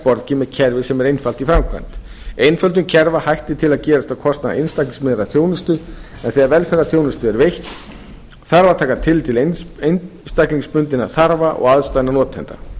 borgið með kerfi sem er einfalt í framkvæmd einföldum kerfa hættir til að gerast á kostnað einstaklingslegrar þjónustu en þegar velferðarþjónusta er veitt þarf að taka tillit til einstaklingsbundinna þarfa og aðstæðna notenda